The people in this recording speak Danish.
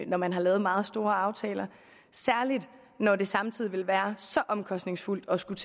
når man har lavet meget store aftaler særlig når det samtidig vil være så omkostningsfuldt at skulle